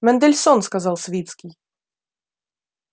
мендельсон сказал свицкий